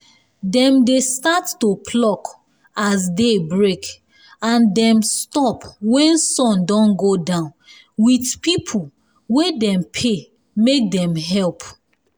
dem dey start to pluck as day break and dem stop wen sun don go down with people wey dem pay make dem help.